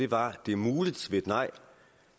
var at det er muligt ved et nej